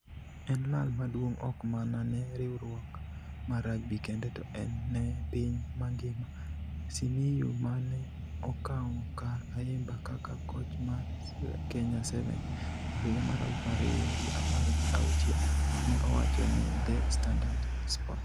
En lal maduong' ok mana ne riwruok mar rugby kende to ne piny mangima", Simiyu, ma ne okawo kar Ayimba kaka koch mar Kenya 7s e higa mar aluf ariyo gi apar gi auchiel ne owacho ne The Standard Sports.